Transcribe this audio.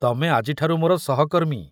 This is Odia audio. ତମେ ଆଜିଠାରୁ ମୋର ସହର୍କମୀ।